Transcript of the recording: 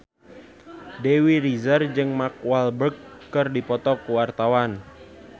Dewi Rezer jeung Mark Walberg keur dipoto ku wartawan